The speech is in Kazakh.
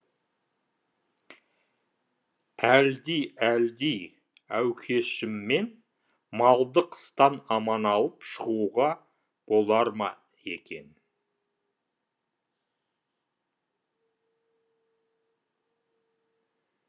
әлди әлди әукешіммен малды қыстан аман алып шығуға болар ма екен